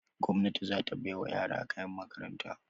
Gwamnati za ta bai wa yara kayan makaranta.